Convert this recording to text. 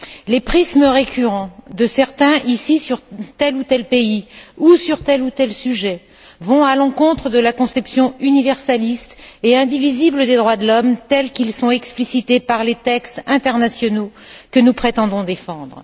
Les prismes récurrents de certains ici sur tel ou tel pays ou sur tel ou tel sujet vont à l'encontre de la conception universaliste et indivisible des droits de l'homme tels qu'ils sont explicités par les textes internationaux que nous prétendons défendre.